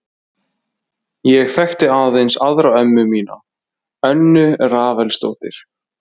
Ég þekkti aðeins aðra ömmu mína, Önnu Rafaelsdóttur.